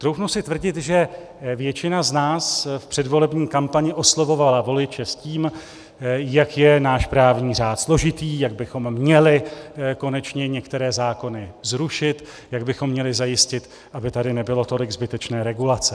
Troufnu si tvrdit, že většina z nás v předvolební kampani oslovovala voliče s tím, jak je náš právní řád složitý, jak bychom měli konečně některé zákony zrušit, jak bychom měli zajistit, aby tady nebylo tolik zbytečné regulace.